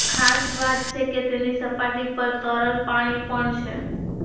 ખાસ વાત છે કે તેની સપાટી પર તરલ પાણી પણ છે